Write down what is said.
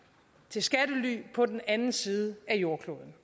til skattely på den anden side af jordkloden